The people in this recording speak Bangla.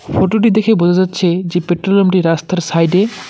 ফটো -টি দেখে বোঝা যাচ্ছে যে পেট্রোল পাম্প -টি রাস্তার সাইড -এ।